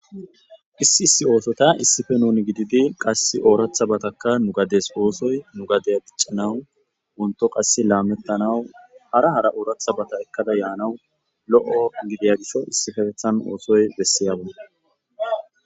Issi issi othota issipe nuni gididi qasi orathabataka nu gades osoy nu gadiya dicanawu won't qasi lametanawu hara harabata ekada yanawu lo'o gidiyayasa issipetethan osoy besiyaba